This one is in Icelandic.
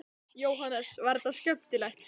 Jóhannes: Var þetta skemmtilegt?